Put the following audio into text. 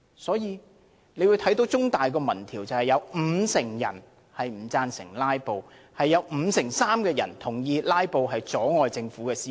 香港中文大學的一項民調指出，有五成人不贊成"拉布"，有五成三的人同意"拉布"阻礙政府施政。